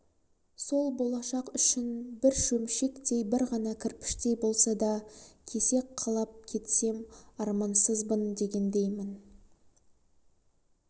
сол болашақ үшін бір шөмшектей бір ғана кірпіштей болса да кесек қалап кетсем армансызбын дегендеймін